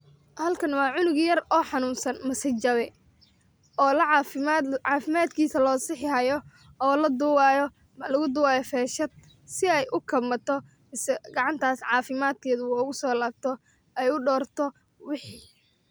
Halkan waa cunuug yar o xanun san mase jawee, o lacafimad cafimadkisaa losaxii hayo o laduwii hayo,o lagu duwii hayo fashaad si eey u kamaato, gacantaas cafimaad keeda ugu so laabto ee udorto wixii.